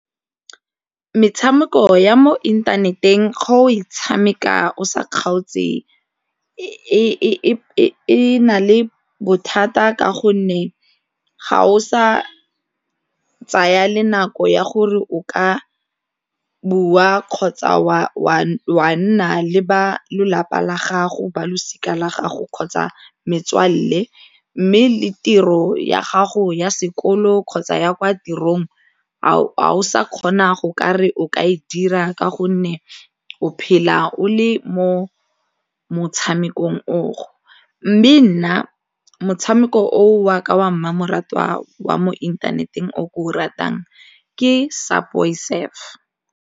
Metshameko ya mo inthaneteng ga o e tshameka o sa kgaotse e na le bothata ka gonne ga o sa tsaya le nako ya gore o ka bua kgotsa wa nna le ba lelapa la gago ba losika la gago kgotsa metswalle mme le tiro ya gago ya sekolo kgotsa ya kwa tirong fa o sa kgona go ka re o ka e dira ka gonne o phela o le mo motshamekong o go mme nna motshameko o wa ka wa mmamoratwa wa mo inthaneteng o ke o ratang ke Subway Surf.